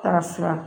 Ka siran